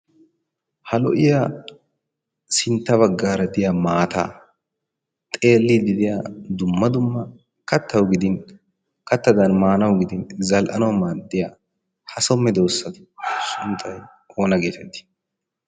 ha lo'iya sintta bagaara maataa xeelidiy diya zal'anawu maadiya maanawu maadiya ha so medoosaa sunttay aaona geetettii?